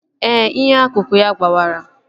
Ee, inyo akụkụ ya gbawara